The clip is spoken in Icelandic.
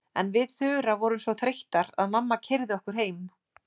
En við Þura vorum svo þreyttar að mamma keyrði okkur heim.